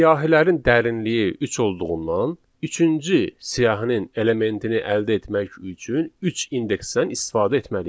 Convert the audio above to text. Siyahilərin dərinliyi üç olduğundan, üçüncü siyahının elementini əldə etmək üçün üç indeksdən istifadə etməliyik.